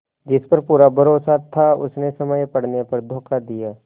जिस पर पूरा भरोसा था उसने समय पड़ने पर धोखा दिया